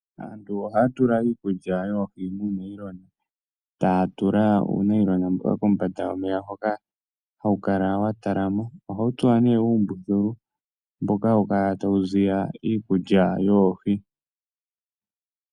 Aantu ohaya tula iikulya yoohi muunailona, etaya tula uunayilona mboka kombanda yomeya hoka hawu kala wa talama. Ohawu tsuwa nee uumbululu mboka hawu kala tawu ziya iikulya yoohi.